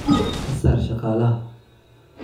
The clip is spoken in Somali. Ka saar shaqaalaha.